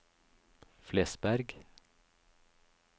Flesberg